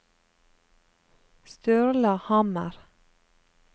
Sturla Hammer